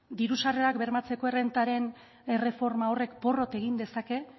diru sarrerak bermatzearen errentaren erreforma horrek porrot egin dezake